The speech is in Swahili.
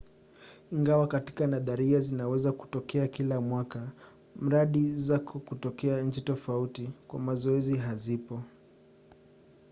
ingawa katika nadharia zinaweza kutokea kila mwaka mradi zako katika nchi tofauti kwa mazoezi hazipo